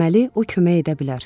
Deməli o kömək edə bilər.